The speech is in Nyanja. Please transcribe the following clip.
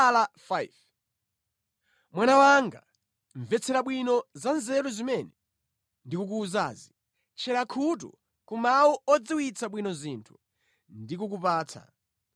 Mwana wanga, mvetsera bwino za nzeru zimene ndikukuwuzazi, tchera khutu ku mawu odziwitsa bwino zinthu ndikukupatsa,